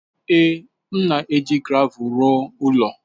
Ee, m na-eji gravel rụọ ụlọ.